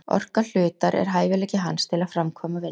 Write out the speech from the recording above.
Orka hlutar er hæfileiki hans til að framkvæma vinnu.